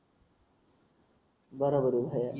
बरोबर आहे भाया